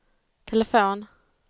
telefon